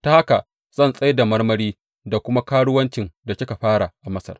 Ta haka zan tsai da marmari da kuma karuwancin da kika fara a Masar.